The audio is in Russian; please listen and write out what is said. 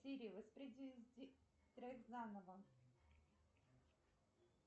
сири воспроизведи трек заново